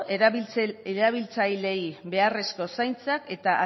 erabiltzaileei beharrezko zaintzak eta